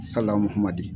Salamadi